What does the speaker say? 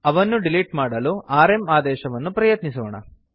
ಅವನ್ನು ಡಿಲಿಟ್ ಮಾಡಲು ಆರ್ಎಂ ಆದೇಶವನ್ನು ಪ್ರಯತ್ನಿಸೋಣ